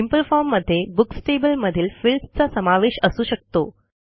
simple form मध्ये books table मधील fields चा समावेश असू शकतो